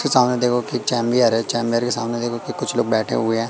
फिर सामने देखोगे कि चेंबियर है चेंबर के सामने देखो कि कुछ लोग बैठे हुए हैं।